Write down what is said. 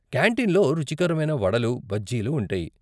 కాంటీన్లో రుచికరమైన వడలు, బజ్జీలు ఉంటాయి.